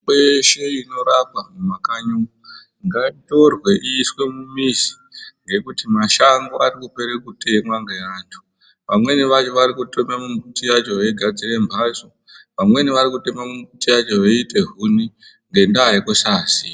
Mitombo yeshe inorapa mumakanyi umu ngaitorwe iiswe mumizi ngekuti mashango arikupere kutemwa ngeantu. Vamweni vacho varikutema miti yacho veigadzire mhatso, vamweni varikutema miti yacho kuite huni ngendaa yekusaziya.